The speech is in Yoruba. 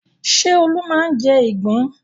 Ṣé Olú máa ń jẹ ìgbín?